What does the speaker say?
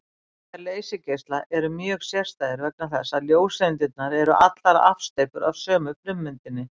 Eiginleikar leysigeisla eru mjög sérstæðir vegna þess að ljóseindirnar eru allar afsteypur af sömu frummyndinni.